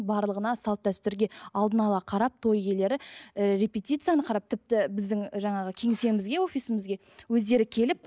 барлығына салт дәстүрге алдын ала қарап той иелері ііі репетицияны қарап тіпті біздің жаңағы кеңсемізге офисімізге өздері келіп